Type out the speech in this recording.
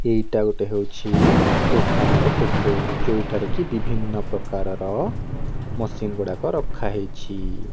ଏଇଟା ଗୋଟେ ହେଉଛି ଦୋକାନର ଫୋଟୋ ଯେଉଁଠାରେ କି ବିଭିନ୍ନ ପ୍ରକାରର ମସିନ ଗୁଡ଼ାକ ରଖାହେଇଛି।